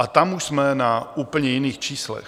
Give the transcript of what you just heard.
A tam už jsme na úplně jiných číslech.